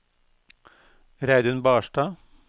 Reidun Barstad